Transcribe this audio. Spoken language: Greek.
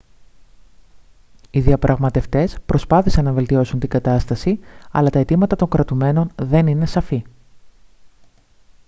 οι διαπραγματευτές προσπάθησαν να βελτιώσουν την κατάσταση αλλά τα αιτήματα των κρατουμένων δεν είναι σαφή